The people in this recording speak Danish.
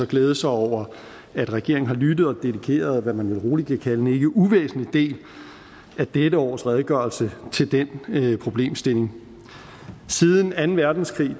glæde sig over at regeringen har lyttet og dedikeret det som man vel roligt kan kalde en ikke uvæsentlig del af dette års redegørelse til den problemstilling siden anden verdenskrig